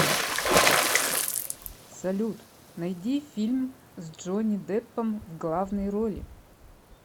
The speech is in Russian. салют найди фильм с джони деппом в главной роли